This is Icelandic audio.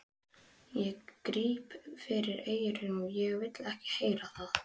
Ég gríp fyrir eyrun, ég vil ekki heyra það!